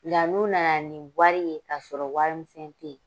La n'u nana ni wari ye k'a sɔrɔ warimisɛn te ye